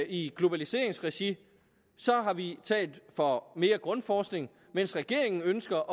i globaliseringsregi har vi talt for mere grundforskning mens regeringen ønsker